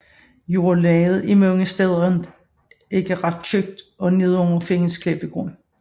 Jordlaget er mange steder ikke ret tykt og nedenunder findes klippegrund